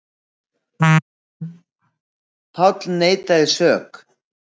Páll neitaði sök.